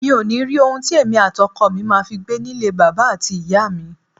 Mi ò ní rí ohun tí èmi àti ọkọ mi ma fi gbé nílé bàbà àti ìyá mi.